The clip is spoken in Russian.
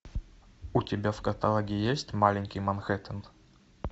у тебя в каталоге есть маленький манхэттен